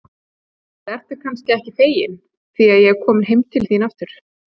Eða ertu kannski ekki fegin því að ég er komin heim til þín aftur?